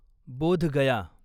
बोध गया